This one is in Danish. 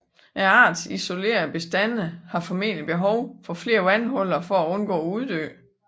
Artens isolerede bestande har formentlig behov for flere vandhuller for at undgå at uddø